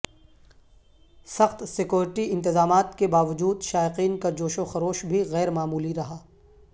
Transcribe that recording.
سخت سکیورٹی انتظامات کے باوجود شائقین کا جوش وخروش بھی غیر معمولی رہا